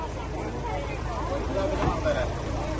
Yaxşı gəlib, gələn də var, yaxşı gələn də var.